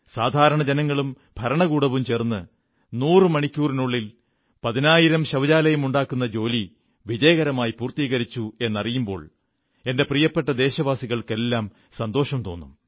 സാധാരണ ജനങ്ങളും ഭരണകൂടവും ചേർന്ന് 100 മണിക്കൂറിനുള്ളിൽ പതിനായിരം ശൌചാലയമുണ്ടാക്കുന്ന ജോലി വിജയകരമായി പൂർത്തീകരിച്ചു എന്നറിയുമ്പോൾ എന്റെ പ്രിയപ്പെട്ട ദേശവാസികൾക്കെല്ലാം സന്തോഷം തോന്നും